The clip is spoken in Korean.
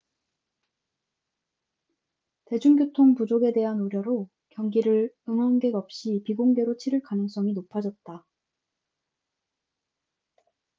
대중교통 부족에 대한 우려로 경기를 응원객 없이 비공개로 치를 가능성이 높아졌다